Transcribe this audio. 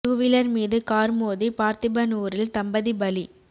two wheeler மீது car மோதி பார்த்திபனுாரில் தம்பதி பலி